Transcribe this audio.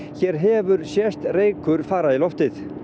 hér hefur sést reykur fara í loftið